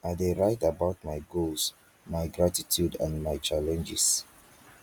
i dey write about my goals my gratitude and my challenges